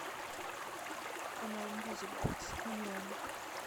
канал мьюзик бокс онлайн